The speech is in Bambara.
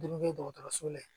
dɔgɔtɔrɔso la